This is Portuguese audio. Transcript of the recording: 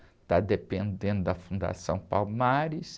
Está dependendo da Fundação Palmares.